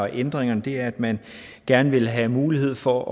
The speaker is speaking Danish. ændringerne her at man gerne vil have mulighed for